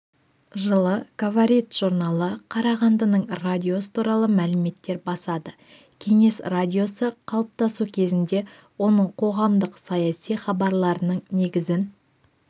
жылы говорит журналы қарағандының радиосы туралы мәліметтер басады кеңес радиосы қалыптасу кезінде оның қоғамдық-саяси хабарларының негізін